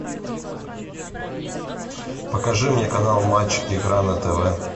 покажи мне канал матч игра на тв